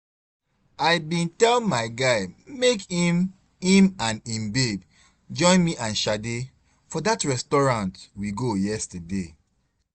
I bin tell my guy make im im and im babe join me and Sade for dat restaurant we go yesterday